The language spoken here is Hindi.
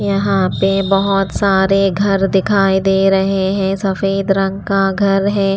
यहाँ पे बहुत सारे घर दिखाई दे रहे हैं सफेद रंग का घर है।